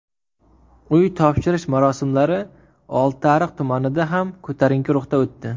Uy topshirish marosimlari Oltiariq tumanida ham ko‘tarinki ruhda o‘tdi.